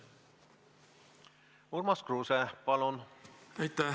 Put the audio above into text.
Urmas Kruuse, palun!